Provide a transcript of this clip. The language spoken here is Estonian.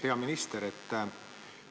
Hea minister!